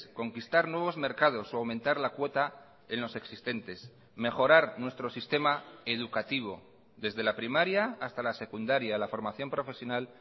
conquistar nuevos mercados o aumentar la cuota en los existentes mejorar nuestro sistema educativo desde la primaria hasta la secundaria la formación profesional